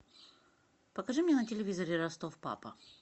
покажи мне на телевизоре ростов папа